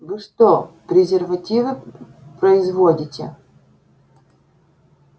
вы что презервативы производите